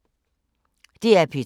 DR P2